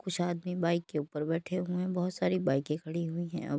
कुछ आदमी बाइक के ऊपर बैठे हुए हैं बहुत सारी बाइके खड़ी हुई हैं।